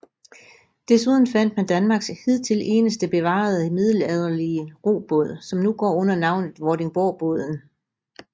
Desuden fandt man Danmarks hidtil eneste bevarede middelalderlige robåd som nu går under navnet Vordingborgbåden